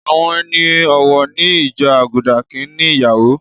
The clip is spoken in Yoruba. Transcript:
Àwọn ẹni ọ̀wọ̀ ní ìjọ Àgùdà kì ń ní ìyàwó.